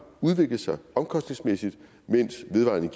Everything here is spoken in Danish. udviklet sig omkostningsmæssigt mens vedvarende